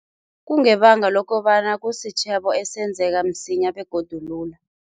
Kungebanga lokobana kusitjhebo esenzaka msinya begodu lula.